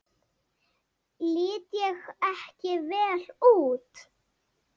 Lít ég ekki vel út?